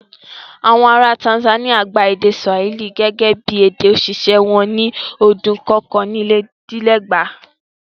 Àwọn ará Tanzania gba èdè Swahili gẹ́gẹ́ bí èdè òṣìṣẹ́ wọn ní ọdún kọkànlélójìdínlẹ́gbàá.